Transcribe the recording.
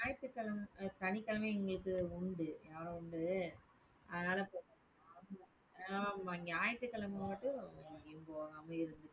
ஞாயிற்றுக்கிழமை அஹ் சனிக்கிழமை எங்களுக்கு உண்டு. உண்டு அதனால, ஆஹ் ஆமா ஞாயிற்றுக்கிழமை மட்டும் எங்கயும் போகாம இருந்துகிட்டு